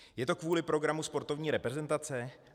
Je to kvůli programu sportovní reprezentace?